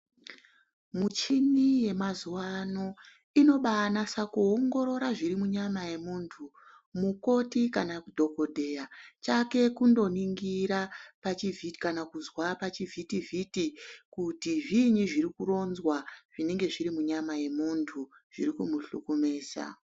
Muchini yemazuwa ano ino baanasa kuongorora zviri munyama yemuntu. Mukoti kana kuti dhogodheya chake kundo ningira pachivhitivhiti kana kuzwa pachivhitivhiti kuti zviinyi zviri kuronzwa zvinenge zvir imunyama memuntu zviriku muhlukumesa.